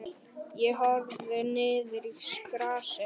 Ég horfði niður í grasið.